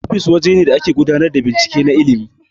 Ofis waje ne da ake gudanar da binciken na ilmin